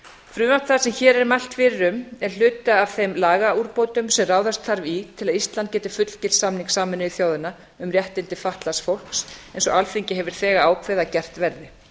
frumvarp það sem hér er mælt fyrir um er hluti af þeim lagaúrbótum sem ráðast þarf í til að ísland geti fullgilt samning sameinuðu þjóðanna um réttindi fatlaðs fólks eins og alþingi hefur þegar ákveðið að gert verði